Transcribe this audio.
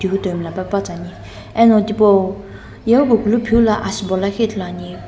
tihutoi mlla pepatsuani eno tipau yeghikukulu phivilo asübo lakhi ithuluani .